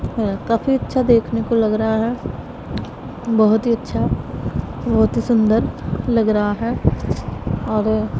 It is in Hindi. हैं काफी अच्छा देखने को लग रहा हैं बहोत ही अच्छा बहोत ही सुंदर लग रहा है और--